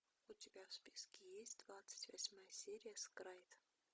у тебя в списке есть двадцать восьмая серия скрайд